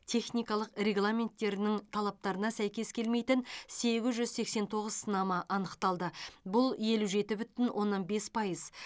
техникалық регламенттерінің талаптарына сәйкес келмейтін сегіз жүз сексен тоғыз сынама анықталды бұл елу жеті бүтін оннан бес пайыз